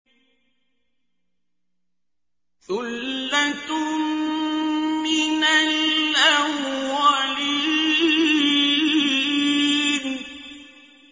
ثُلَّةٌ مِّنَ الْأَوَّلِينَ